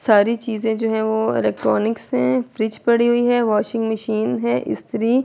ساری چیزے جو ہے وو الیکٹرانکس ہے۔ فرج پڑی ہوئی ہے۔ واشنگ مشین ہے۔ سٹری--